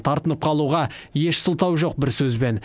тартынып қалуға еш сылтау жоқ бір сөзбен